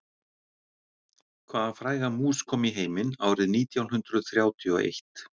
Hvaða fræga mús kom í heiminn árið nítján hundruð þrjátíu og eitt?